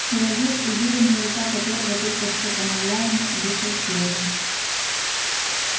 человек уверенная рука которого только что помогла ему вышел следом